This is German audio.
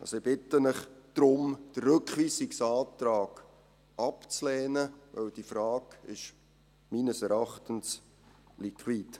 Also, ich bitte Sie darum, den Rückweisungsantrag abzulehnen, weil diese Frage meines Erachtens liquid ist.